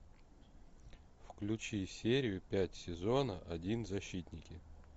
включи серию пять сезона один защитники